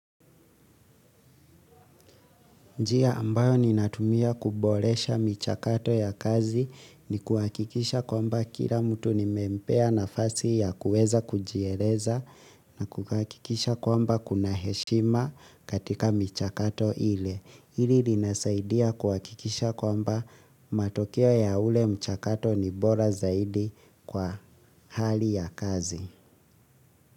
Njia ambayo ninatumia kuboresha michakato ya kazi ni kuhakikisha kwamba kila mtu nimempea nafasi ya kuweza kujieleza na kuhakikisha kwamba kuna heshima katika michakato ile. Hili linasaidia kuhakikisha kwamba matokeo ya ule mchakato ni bora zaidi kwa hali ya kazi.